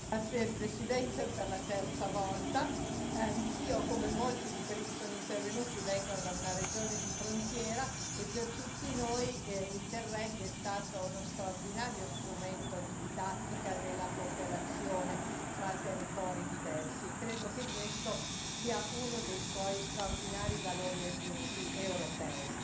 Signor Presidente, onorevoli colleghi, anch'io, come molti di quelli che sono intervenuti, vengo da una regione di frontiera e per tutti noi Interreg è stato uno straordinario strumento di didattica della cooperazione fra territori diversi, e credo che questo sia uno dei suoi straordinari valori aggiunti europei.